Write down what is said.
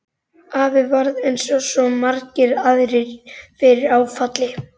Afi varð eins og svo margir aðrir fyrir áfalli.